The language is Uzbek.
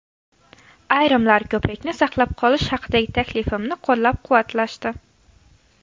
Ayrimlar ko‘prikni saqlab qolish haqidagi taklifimni qo‘llab-quvvatlashdi.